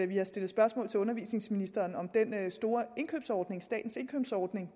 vi har stillet spørgsmål til undervisningsministeren om den store indkøbsordning altså statens indkøbsordning